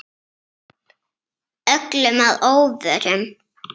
Öllum að óvörum.